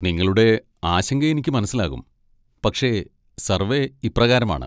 നിങ്ങളുടെ ആശങ്ക എനിക്ക് മനസ്സിലാകും, പക്ഷേ സർവ്വേ ഇപ്രകാരമാണ്.